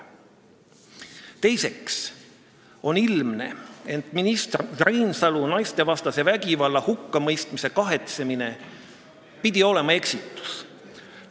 Teiseks on ilmne, et minister Reinsalu kahetsus, et ta naistevastase vägivalla hukka mõistis, pidi olema eksitus.